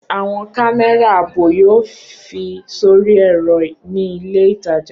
Awọn kamẹra aabo yoo fi sori ẹrọ ni ile itaja.